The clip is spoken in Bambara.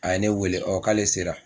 A ye ne wele k'ale sera